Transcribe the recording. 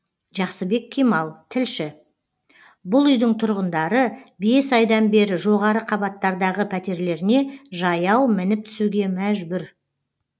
жақсыбек кемал тілші бұл үйдің тұрғындары бес айдан бері жоғары қабаттардағы пәтерлеріне жаяу мініп түсуге мәжбүр